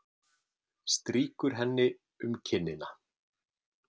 Strýkur henni um kinnina.